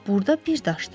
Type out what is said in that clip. Burda bir daşdır.